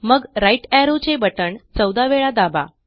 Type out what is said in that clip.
मग right arrow चे button चौदा वेळा दाबा